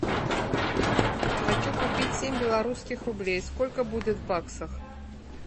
хочу купить семь белорусских рублей сколько будет в баксах